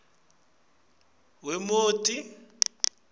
nobe umnikati wemoti